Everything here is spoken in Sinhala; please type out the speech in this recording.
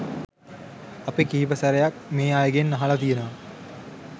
අපි කිහිප සැරයක් මේ අයගෙන් අහලා තියෙනවා